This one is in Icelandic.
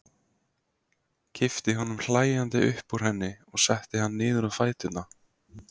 Kippti honum hlæjandi upp úr henni og setti hann niður á fæturna.